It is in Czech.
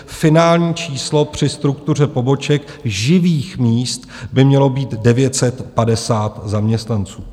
Finální číslo při struktuře poboček živých míst by mělo být 950 zaměstnanců.